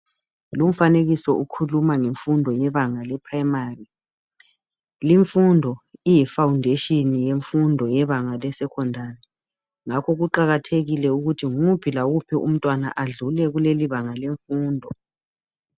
Lumfanekiso ukhuluma ngemfundo yebanga le"primary"limfundo iyi"foundation"yemfundo yebanga le"secondary"ngakho kuqakathekile ukuthi nguphi lawuphi umntwana adlule kulelibanga lemfundo.